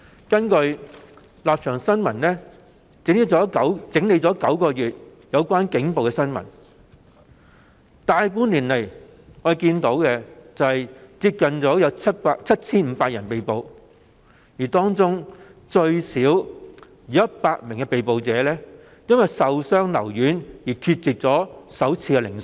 根據《立場新聞》整理9個月以來有關警暴的新聞，在過去大半年來，有接近 7,500 人被捕，當中最少有100名被捕人士因受傷留院而缺席首次聆訊。